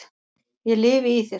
ég lifi í þér.